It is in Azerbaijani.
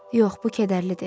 Yox, bu kədərlidir.